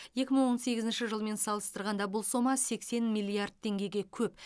екі мың он сегізінші жылмен салыстырғанда бұл сома сексен миллиард теңгеге көп